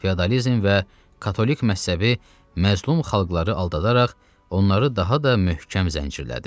Feodalizm və katolik məzhəbi məzlum xalqları aldadaraq onları daha da möhkəm zəncirlədi.